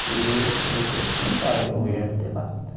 Inclusive eu tenho até esse lugar, eu lá.